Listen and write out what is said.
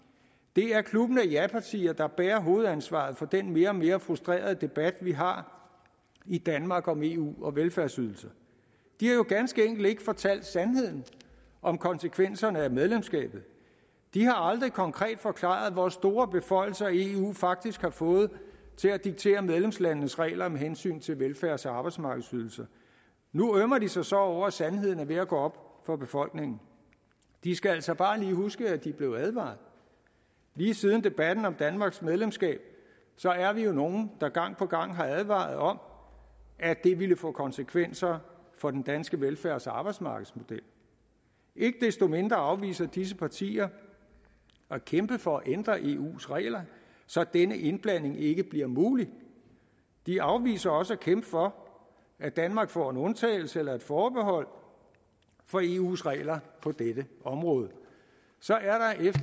det er klubben af japartier der bærer hovedansvaret for den mere og mere frustrerede debat vi har i danmark om eu og velfærdsydelser de har jo ganske enkelt ikke fortalt sandheden om konsekvenserne af medlemskabet de har aldrig konkret forklaret hvor store beføjelser eu faktisk har fået til at diktere medlemslandenes regler med hensyn til velfærds og arbejdsmarkedsydelser nu ømmer de sig så over at sandheden er ved at gå op for befolkningen de skal altså bare lige huske at de blev advaret lige siden debatten om danmarks medlemskab er vi jo nogle der gang på gang har advaret om at det ville få konsekvenser for den danske velfærds og arbejdsmarkedsmodel ikke desto mindre afviser disse partier at kæmpe for at ændre i eus regler så denne indblanding ikke bliver mulig de afviser også at kæmpe for at danmark får en undtagelse eller et forbehold for eus regler på dette område så er